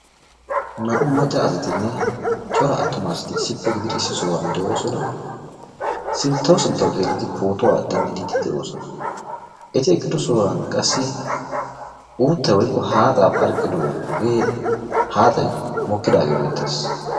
naa''u macca asatinne cora attuma asati issippe gididi issi sohuwan de'oosona. sinttawu sinttawu xeelidi pootuwa dendiidi de'ooosona. eti eqido sohuwan uuttay woykko haaxxay eqidaage beettees.